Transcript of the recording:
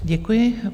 Děkuji.